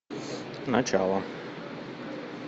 начало